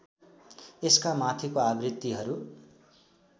यसका माथिको आवृत्तिहरू